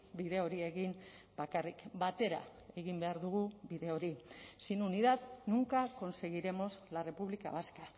bide hori egin bakarrik batera egin behar dugu bide hori sin unidad nunca conseguiremos la república vasca